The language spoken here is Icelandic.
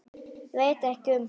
Ég veit ekkert um það?